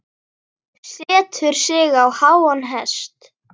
Setur sig á háan hest.